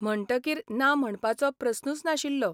म्हणटकीर ना म्हणपाचो प्रस्नूच नाशिल्लो.